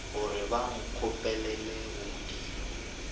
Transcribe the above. gore ba nkgopelele go modimo